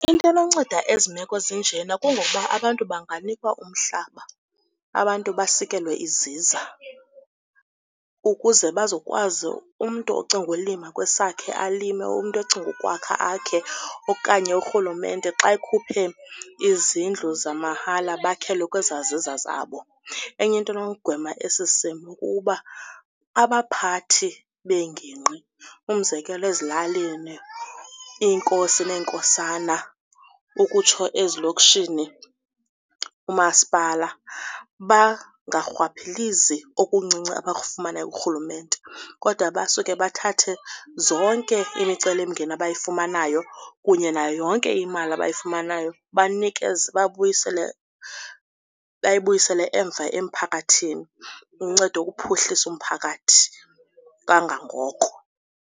Into enonceda ezi meko zinjena kungokuba abantu banganikwa umhlaba, abantu basikelwe iziza ukuze bazokwazi umntu ocinga ulima kwesakhe alime, umntu ocinga ukwakha akhe okanye urhulumente xa ekhuphe izindlu zamahala bakhelwe kwezaa ziza zabo. Enye into enogwema esi simo kuba abaphathi beengingqi umzekelo ezilalini, iinkosi neenkosana ukutsho ezilokishini, uMaspala bangarhwaphilizi okuncinci abakufumanayo kurhulumente kodwa basuke bathathe zonke imicelimngeni abayifumanayo kunye nayo yonke imali abayifumanayo bayibuyisele emva emphakathini, uncedo ukuphuhlisa umphakathi kangangoko.